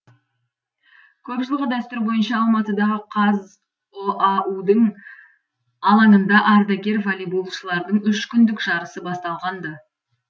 көп жылғы дәстүр бойынша алматыдағы қазұау дің алаңында ардагер волейболшылардың үш күндік жарысы басталған ды